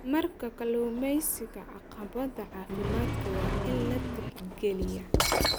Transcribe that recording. Marka kalluumeysiga, caqabadaha caafimaadka waa in la tixgeliyaa.